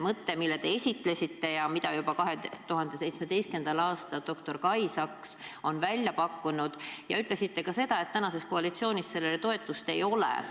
Te olete toetanud mõtet, mille juba 2017. aastal doktor Kai Saks välja pakkus, aga te ütlesite, et tänases koalitsioonis sellele toetust ei ole.